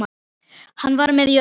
Hann var með í öllu.